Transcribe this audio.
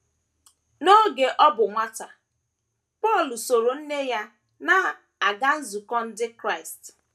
N’oge ọ bụ nwata, Paul sooro nne ya na - aga nzukọ ndị Krịast.